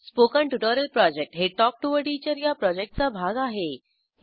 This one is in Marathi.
स्पोकन ट्युटोरियल प्रॉजेक्ट हे टॉक टू टीचर या प्रॉजेक्टचा भाग आहे